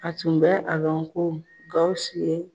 A tun bɛ a lɔn ko Gawusu ye